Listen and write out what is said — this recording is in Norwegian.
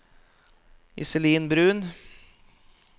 Iselin Bruun